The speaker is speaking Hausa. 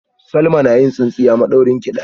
Salma na yin tsintsiya madaurinki daya